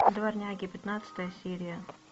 дворняги пятнадцатая серия